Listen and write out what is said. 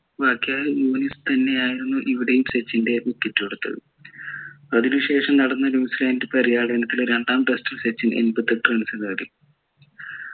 വഖാർ യൂനിസ് തന്നെ ആയിരുന്നു ഇവിടെയും സച്ചിൻ്റെ wicket എടുത്തത് അതിന് ശേഷം നടന്ന ന്യൂസിലാൻഡ് പര്യാടനത്തിൽ രണ്ടാം test ൽ സച്ചിൻ എൺപത്തിയെട്ടു runs നേടി